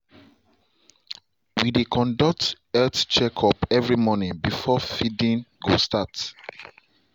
we dey conduct health check up every morning before feeding go start